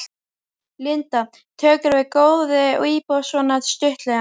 Linda: Tekurðu við góðu búi, svona stuttlega?